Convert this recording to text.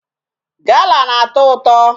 Gala na-atọ ụtọ.